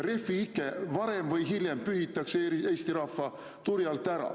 Refi-ike pühitakse varem või hiljem Eesti rahva turjalt ära.